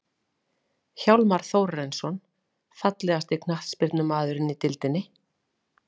Hjálmar Þórarinsson Fallegasti knattspyrnumaðurinn í deildinni?